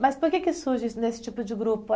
Mas por que que surge esse nesse tipo de grupo?